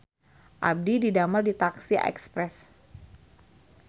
Abdi didamel di taksi Express